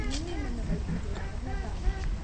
ನಿನ್ನೆ ನನ್ನ ಬೈಕಿಗೆ ಅಪಘಾತ ಆಗಿದೆ.